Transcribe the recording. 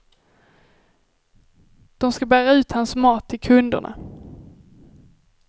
De ska bära ut hans mat till kunderna.